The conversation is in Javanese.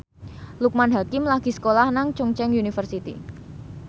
Loekman Hakim lagi sekolah nang Chungceong University